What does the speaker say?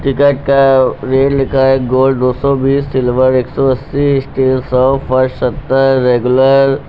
Ticket का rate लिखा है। गोल्ड दो सौ बीस सिल्वर एक सौ अस्सी स्टील सौ फर्स्ट सत्तर रेगुलर --